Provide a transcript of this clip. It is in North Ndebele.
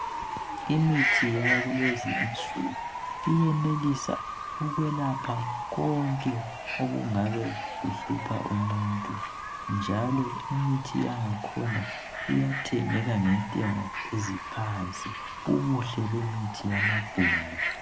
Imithi yakulezinsuku iyenelisa ukwelapha konke okungabe kuhlupha umuntu njalo imithi yangakhona iyathengeka ngentengo eziphansi ubuhle yemithi yamabhunu.